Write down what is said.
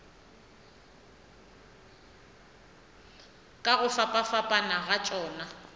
ka go fapafapana ga tšona